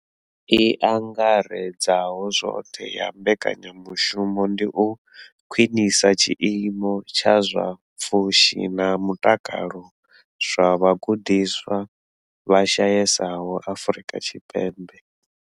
I angaredzaho zwoṱhe ya mbekanya mushumo ndi u khwinisa tshiimo tsha zwa pfushi na mutakalo zwa vhagudiswa vha shayesaho Afrika Tshipembe.